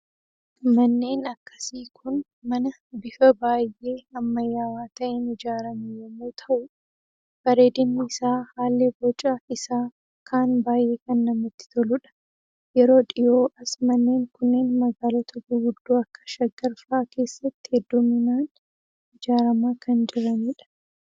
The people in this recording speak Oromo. Manneen akkasii Kun, mana bifa baayyee ammayyaawaa ta'een ijaarame yemmuu ta'u, bareediinni isaa haalli boca isaa akkaan baayyee kan namatti toludha. Yeroo dhihoo as manneen kunneen magaalota gurguddo akka shaggar fa'aa keessatti hedduminaan ijaaramaa kan jiranidha.